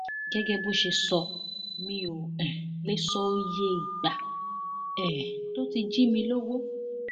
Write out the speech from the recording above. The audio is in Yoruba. gẹgẹ bó ṣe sọ mí ò um lè sọ iye ìgbà um tó ti jí mi lọwọ